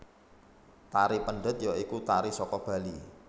Tari Pendet ya iku tari saka Bali